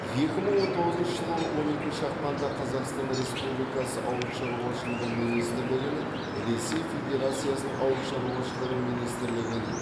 екі мың он тоғызыншы жылы он екінші ақпанда қазақстан республикасы ауыл шаруашылығы министрлігінің ресей федерациясының ауыл шаруашылығы министрлігінің